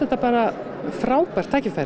bara frábært tækifæri